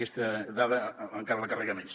aquesta dada encara la carrega més